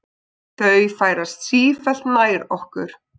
Þau færast sífellt nær okkur.